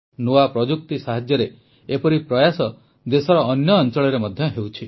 ନୂଆ ପ୍ରଯୁକ୍ତି ସାହାଯ୍ୟରେ ଏପରି ପ୍ରୟାସ ଦେଶର ଅନ୍ୟ ଅଂଳରେ ମଧ୍ୟ ହେଉଛି